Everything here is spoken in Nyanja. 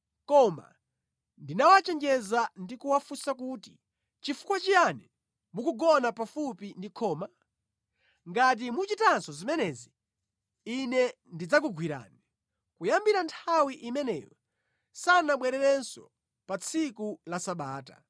Koma ndinawachenjeza ndi kuwafunsa kuti, “Nʼchifukwa chiyani mukugona pafupi ndi khoma? Ngati muchitanso zimenezi, ine ndidzakugwirani.” Kuyambira nthawi imeneyo, sanabwerenso pa tsiku la Sabata.